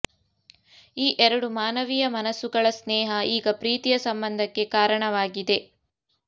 ಈ ಎರಡೂ ಮಾನವೀಯ ಮನಸ್ಸುಗಳ ಸ್ನೇಹ ಈಗ ಪ್ರೀತಿಯ ಸಂಬಂಧಕ್ಕೆ ಕಾರಣವಾಗಿದೆ